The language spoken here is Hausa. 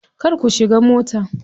Kar ku shiga mota.